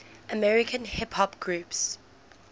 american hip hop groups